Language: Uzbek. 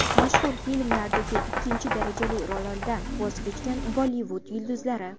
Mashhur filmlardagi ikkinchi darajali rollardan voz kechgan Bollivud yulduzlari .